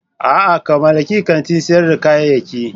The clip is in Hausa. A'a! ka mallaki kantin sayar da kayayyaki.